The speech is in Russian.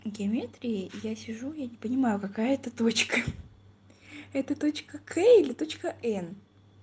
в геометрии я сижу я не понимаю какая это точка хи-хи это точка к или точка н